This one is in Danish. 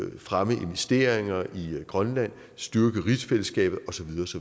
at fremme investeringer i grønland og styrke rigsfællesskabet og så